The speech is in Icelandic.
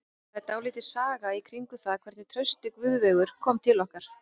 Það er dálítil saga í kringum það hvernig Trausti Guðveigur kom til okkar.